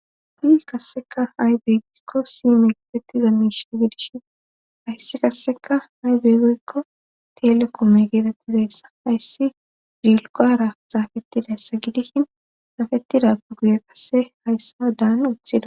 Si kasseka haybeegoykko si megetetida miishe gidishin hayssi kasseka haybeegeykko telekoome geetettidayssa hayssi dilqara zaafettidayssa gidishin saafetidappe guye qase hayssa daan uthida